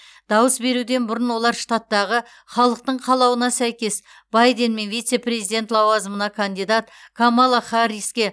дауыс беруден бұрын олар штаттағы халықтың қалауына сәйкес байден мен вице президент лауазымына кандидат камала харриске